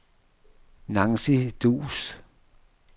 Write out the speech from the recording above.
Nancy Duus